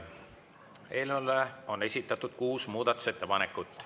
Eelnõu kohta on esitatud kuus muudatusettepanekut.